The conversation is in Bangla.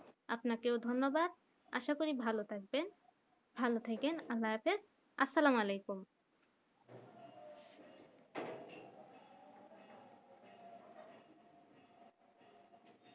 আপনাকেও ধন্যবাদ আশা করি ভালো থাকবেন ভালো থেকেন আল্লাহ হাফিজ আসসালামুয়ালাইকুম